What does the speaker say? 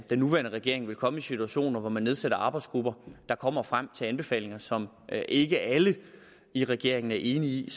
nuværende regering vil komme i situationer hvor man nedsætter arbejdsgrupper der kommer frem til anbefalinger som ikke alle i regeringen er enige i